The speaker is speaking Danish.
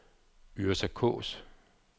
Yrsa Kaas